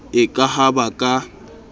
e ka ha ba ka